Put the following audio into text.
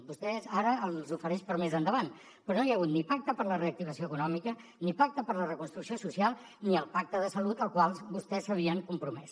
vostès ara els ofereix per a més endavant però no hi ha hagut ni pacte per a la reactivació econòmica ni pacte per a la reconstrucció social ni el pacte de salut al qual vostès s’havien compromès